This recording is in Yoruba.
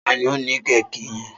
Ta ni ó ní kéèkì yẹn?